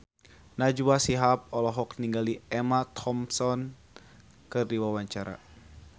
Najwa Shihab olohok ningali Emma Thompson keur diwawancara